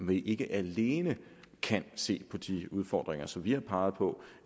vi ikke alene kan se på de udfordringer som vi har peget på